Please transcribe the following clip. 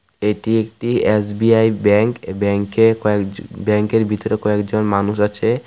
এটি একটি SBI bank এই ব্যাঙ্ক এ কয়েক জ ব্যাঙ্ক এর ভিতরে কয়েকজন মানুষ আছে .